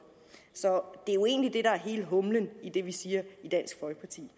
så det er jo egentlig det der er hele humlen i det vi siger i dansk folkeparti